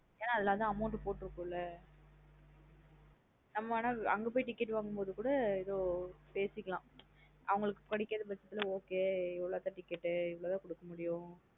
என்ன அதுல லாம் amount போற்றுகுல்ல நம்ம அனாஅங்க போய் ticket வாங்கும் போதும் கூடபேசிக்கலாம் அவுங்களுக்கு கிடைக்காத பச்சதுல okay எவ்ளோ தன் ticket இவ்ளோ தான் கூடுக்கமுடியும் என்ன அதுல தான் amount போற்றுகுள்ள,